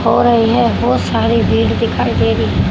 और येह बहोत सारी भीड़ दिखाई दे री--